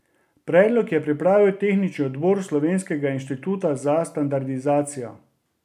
Predlog je pripravil Tehnični odbor Slovenskega inštituta za standardizacijo.